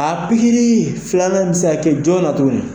A pikiri filanan bi se ka kɛ jɔn na tugun na ?